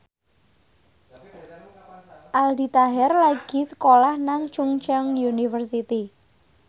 Aldi Taher lagi sekolah nang Chungceong University